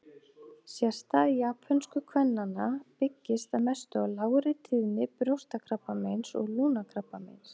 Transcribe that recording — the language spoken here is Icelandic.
Sérstaða japönsku kvennanna byggist að mestu á lágri tíðni brjóstakrabbameins og lungnakrabbameins.